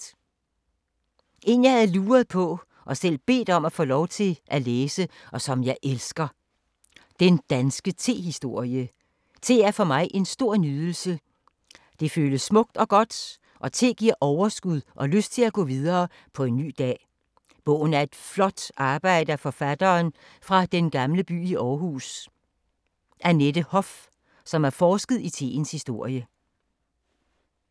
En jeg havde luret på og selv bedt om lov til at læse og som jeg elsker: Den danske tehistorie. Te er en nydelse og er smukt og godt og giver overskud og lyst til at gå videre med en ny dag. Bogen er flot arbejde af forfatteren fra Den gamle by i Aarhus, som har forsket i teens historie.